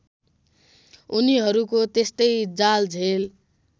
उनीहरूको त्यस्तै जालझेल